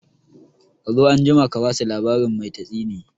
Kazo anjima ka basu labarin mai tatsine